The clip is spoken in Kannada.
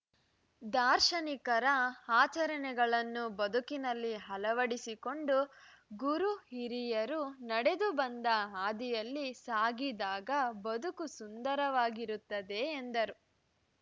ದಾರ್ಶನಿಕರ ಆಚರಣೆಗಳನ್ನು ಬದುಕಿನಲ್ಲಿ ಅಳವಡಿಸಿಕೊಂಡು ಗುರು ಹಿರಿಯರು ನಡೆದು ಬಂದ ಹಾದಿಯಲ್ಲಿ ಸಾಗಿದಾಗ ಬದುಕು ಸುಂದರವಾಗಿರುತ್ತದೆ ಎಂದರು